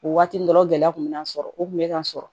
O waati dɔrɔn gɛlɛya kun bɛ n'a sɔrɔ o kun bɛ ka sɔrɔ